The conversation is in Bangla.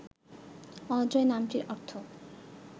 অজয় নামটির অর্থ